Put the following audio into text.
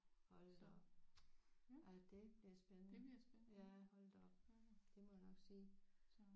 Hold da op ja det bliver spændende ja hold da op det må jeg nok sige